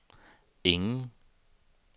ingen